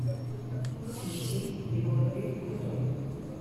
включи егор крид крутой